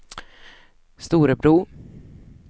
Storebro